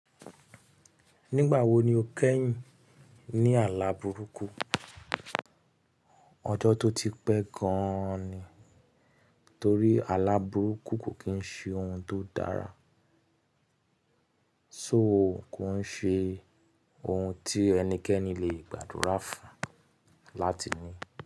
Nígbà wo ni o kẹ́yìn ní àlàbùrúkú? Ọjọ́ tó ti pẹ́ gan ni, torí àlàbùrúkú kò kí ń ṣe ohun tó dára, so kò ń ṣe ohun tí ẹnikẹ́ni le gbàdúrà fún láti ní.